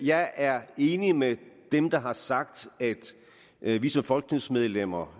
jeg er enig med dem der har sagt at vi som folketingsmedlemmer